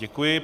Děkuji.